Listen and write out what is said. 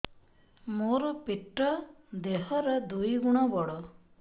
ମୋର ପେଟ ଦେହ ର ଦୁଇ ଗୁଣ ବଡ